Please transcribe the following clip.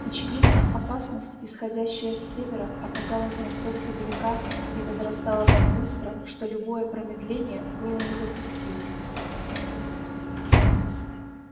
очевидно опасность исходящая с севера оказалась настолько велика и возрастала так быстро что любое промедление было недопустимо